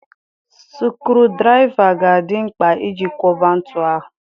Sukurudraịva ga-adị mkpa iji kwọba ntu ahụ.